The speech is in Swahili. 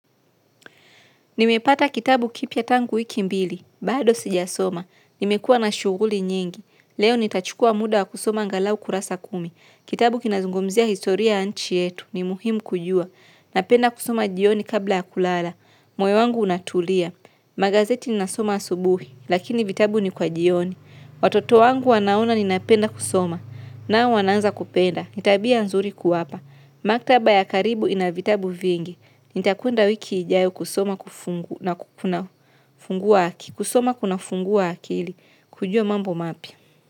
Nimepata kitabu kipya tangu wiki mbili, bado sijasoma. Nimekua na shuguli nyingi. Leo nitachukua muda wa kusoma angalau kurasa kumi. Kitabu kinazungumzia historia ya nchi yetu. Ni muhimu kujua. Napenda kusoma jioni kabla ya kulala. Moyo wangu unatulia. Magazeti ninasoma asubuhi, lakini vitabu ni kwa jioni. Watoto wangu wanaona ninapenda kusoma. Na wanaanza kupenda. Ni tabia nzuri kuwapa. Maktaba ya karibu inavitabu vingi, nitakwenda wiki ijayo kusoma kufungu na kukuna fungu waki, kusoma kuna fungua akili kujua mambo mapya.